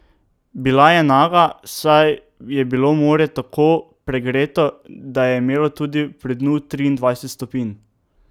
Bila je naga, saj je bilo morje tako pregreto, da je imelo tudi pri dnu triindvajset stopinj.